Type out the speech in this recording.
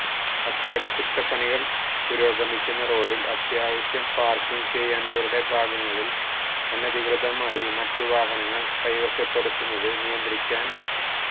അറ്റകുറ്റപ്പണികൾ പുരോഗമിക്കുന്ന റോഡിൽ അത്യാവശ്യം പാർക്കിങ് ചെയ്യേണ്ടവരുടെ ഭാഗങ്ങളിൽ അനധികൃതമായി മറ്റ് വാഹനങ്ങൾ കൈവശപ്പെടുത്തുന്നത് നിയന്ത്രിക്കാ